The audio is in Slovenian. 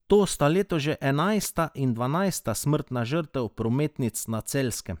To sta letos že enajsta in dvanajsta smrtna žrtev prometnic na Celjskem.